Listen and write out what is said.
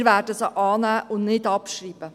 Wir werden sie annehmen und nicht abschreiben.